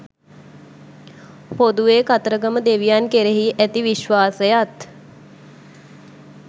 පොදුවේ කතරගම දෙවියන් කෙරෙහි ඇති විශ්වාසයත්